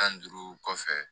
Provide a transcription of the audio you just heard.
Tan ni duuru kɔfɛ